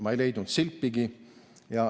Ma ei leidnud sealt silpigi.